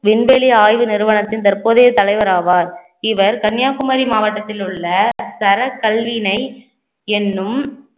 விண்வெளி ஆய்வு நிறுவனத்தின் தற்போதைய தலைவர் ஆவார் இவர் கன்னியாகுமரி மாவட்டத்தில் உள்ள தர கல்வியினை எண்ணும்